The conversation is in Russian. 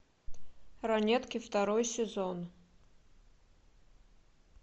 ранетки второй сезон